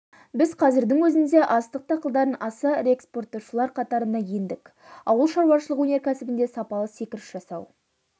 біз қазірдің өзінде астық дақылдарын аса ірі экспорттаушылар қатарына ендік ауыл шаруашылығы өнеркәсібінде сапалы секіріс жасау